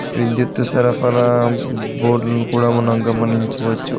విద్యుత్ సరఫరా బోర్డ్లను కూడా మనం గమనించవచ్చు.